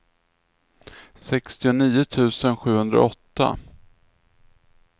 sextionio tusen sjuhundraåtta